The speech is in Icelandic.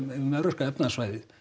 um evrópska efnahagssvæðið